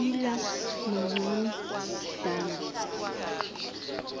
iala maqon dana